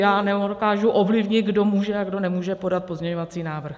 Já nedokážu ovlivnit, kdo může a kdo nemůže podat pozměňovací návrh.